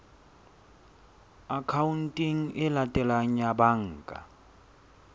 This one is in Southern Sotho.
akhaonteng e latelang ya banka